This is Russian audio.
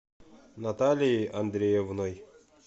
наталией андреевной